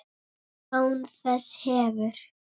Án þess hefur